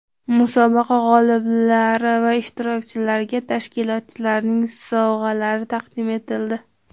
Musobaqa g‘oliblari va ishtirokchilariga tashkilotchilarning sovg‘alari taqdim etildi.